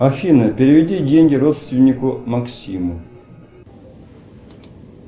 афина переведи деньги родственнику максиму